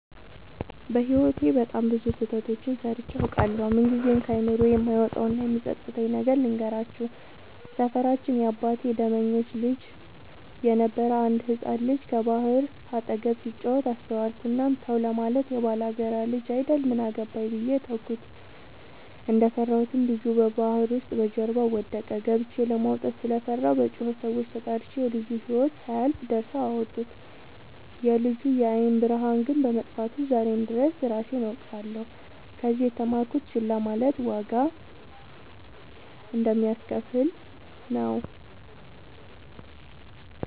በህይወቴ በጣም ብዙ ስህተቶችን ሰርቸ አውቃለሁ። ምንግዜም ከአይምሮዬ የማይወጣው እና የሚፀፅተኝን ነገር ልንገራችሁ። ሰፈራችን የአባቴ ደመኞች ልጅ የነበረ አንድ ህፃን ልጅ ከባህር አጠገብ ሲጫወት አስተዋልኩት። እናም ተው ለማለት የባላጋራ ልጅ አይደል ምን አገባኝ ብዬ ተውኩት። እንደፈራሁትም ልጁ ባህር ውስጥ በጀርባው ወደቀ። ገብቸ ለማውጣት ስለፈራሁ በጩኸት ሰዎችን ተጣርቸ የልጁ ህይወት ሳያልፍ ደርሰው አወጡት። የልጁ የአይን ብርሃን ግን በመጥፋቱ ዛሬም ድረስ እራሴን እወቅሳለሁ። ከዚህ የተማርኩት ችላ ማለት ዋጋ እንደሚያሰከፍል ነው።